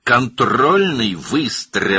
Nəzarət atəşi!